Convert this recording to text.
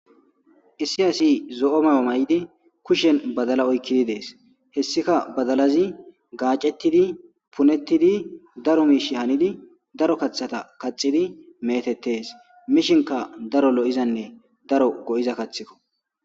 issi asi zo7o mayo may7idi kushen badala oykkidi dees hessika badalazi gaacettidi punettidi daro miish hanidi daro kaththata kaxidi meetettes mishinka daro lo7izanne daro go7iza kathikko